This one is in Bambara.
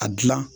A gilan